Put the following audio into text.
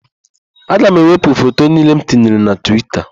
Aga m ewepụ foto niile m tinyere na Twita.